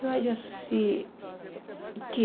Eu acho assim que